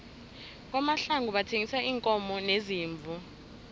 kwamahlangu bathengisa iinkomo neziimvu